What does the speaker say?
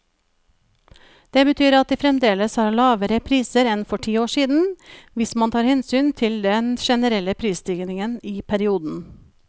Det betyr at de fremdeles har lavere priser enn for ti år siden, hvis man tar hensyn til den generelle prisstigningen i perioden.